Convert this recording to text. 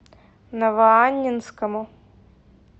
новоаннинскому